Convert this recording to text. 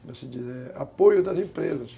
como se diz, apoio das empresas.